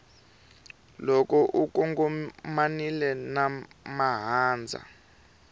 loko u kongomanile na mahandza